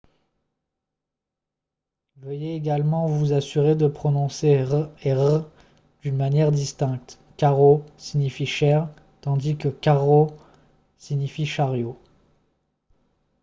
veuillez également vous assurer de prononcer « r » et « rr » d’une manière distincte :« caro » signifie « cher » tandis que « carro » signifie « chariot »